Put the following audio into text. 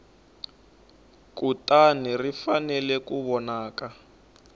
kutani ri fanele ku vonaka